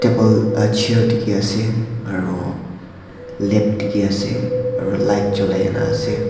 table chair dikhiase aro lap dikhiase aro light cholai kena ase.